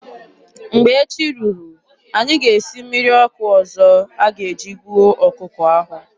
Mgbe echi ruru, anyị ga-esi mmiri ọkụ ọzọ a ga-eji gbuo ọkụkọ ahụ.